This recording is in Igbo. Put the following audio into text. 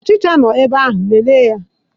Ọchicha nọ n'ebe ahụ, lelee ya